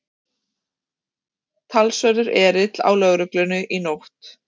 Talsverður erill á lögreglunni í nótt